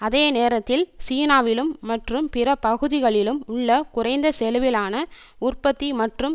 அதே நேரத்தில் சீனாவிலும் மற்றும் பிற பகுதிகளிலும் உள்ள குறைந்த செலவிலான உற்பத்தி மற்றும்